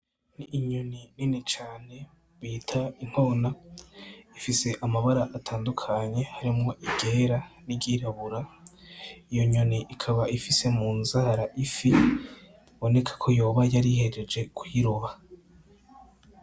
N’inyoni nini cane bita inkona ifise amabara atandukanye, harimwo iryera n’iryirabura. Iyo nyoni ikaba ifise munzara ifi; biboneka ko yoba yarihejeje kuyiroba.